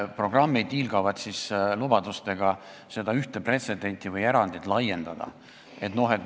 Programmid hiilgavad lubadustega seda ühte erandit laiendada.